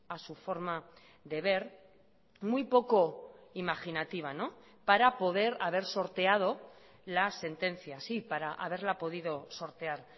a su forma de ver muy poco imaginativa para poder haber sorteado la sentencia sí para haberla podido sortear